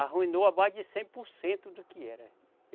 Arruinou a mais de cem por cento do que era.